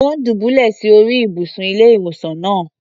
Ò́ ń dùbúlẹ̀ sí orí ìbùsùn ilé-ìwòsàn náà.